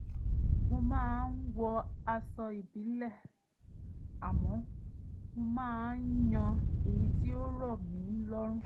mo máa ń wọ aṣọ ìbílẹ̀ àmọ́ mo máa ń yan èyí tí ó rọ̀ mí lọ́rùn